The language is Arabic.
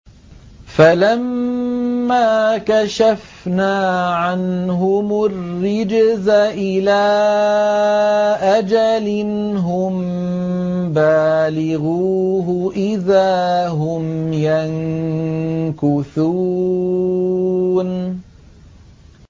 فَلَمَّا كَشَفْنَا عَنْهُمُ الرِّجْزَ إِلَىٰ أَجَلٍ هُم بَالِغُوهُ إِذَا هُمْ يَنكُثُونَ